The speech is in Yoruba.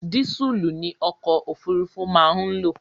Dísùlù ni ọkò òfurufú má ń lò.